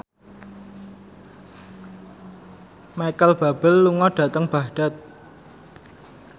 Micheal Bubble lunga dhateng Baghdad